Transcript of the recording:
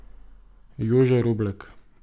Jože Roblek.